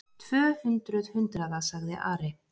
Tvö hundruð hundraða, sagði Ari.